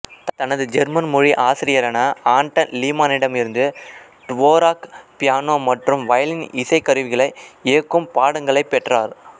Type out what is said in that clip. தனது ஜெர்மன் மொழி ஆசிரியரான ஆன்டன் லீமானிடம் இருந்து டுவோராக் பியானோ மற்றும் வயலின் இசைக்கருவிகளை இயக்கும் பாடங்களைப் பெற்றார்